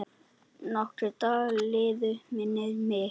Nokkrir dagar liðu, minnir mig.